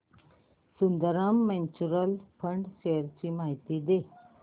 Sundaram mutual fund shares ची माहिती दे